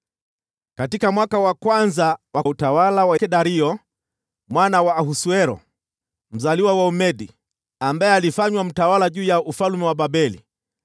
Katika mwaka wa kwanza wa utawala wa Dario mwana wa Ahasuero (mzaliwa wa Umedi), ambaye alifanywa mtawala juu ya ufalme wa Babeli,